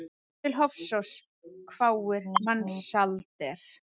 Til Hofsóss, hváir Mensalder.